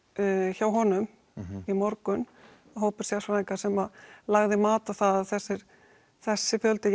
hjá honum í morgun hópur sérfræðinga sem lagði mat á það að þessi þessi fjöldi